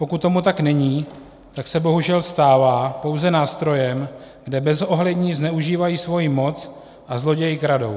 Pokud tomu tak není, tak se bohužel stává pouze nástrojem, kde bezohlední zneužívají svoji moc a zloději kradou.